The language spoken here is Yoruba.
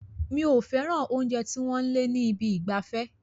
Mi ò fẹ́ràn oúnjẹ tí wọ́n ń eliing ní ibi ìgbafẹ́.